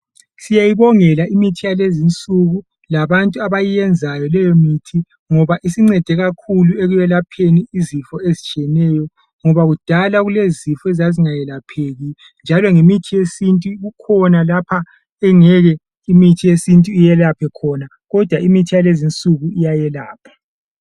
Siyayibongela imithi yalezi nsuku labantu abayenzayo leyo mithi ngoba isincede kakhulu ekuyelapheni izifo ezitshiyeneyo ngoba kudala kulezifo ezazingeyelapheki njalo ngemithi yesintu kukhona lapha engeke imithi yesintu iyelaphe khona kodwa imithi yalezi nsuku iyayelapha.